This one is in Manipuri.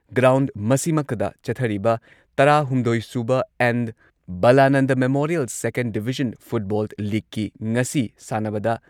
ꯒ꯭꯭ꯔꯥꯎꯟ ꯃꯁꯤꯃꯛꯇꯗ ꯆꯠꯊꯔꯤꯕ ꯇꯔꯥꯍꯨꯝꯗꯣꯏ ꯁꯨꯕ N. Balananda memorial second division football ꯂꯤꯒꯀꯤ ꯉꯁꯤ ꯁꯥꯟꯅꯕꯗ